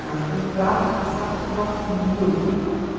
Mas do prato especial, gosto muito de fazer.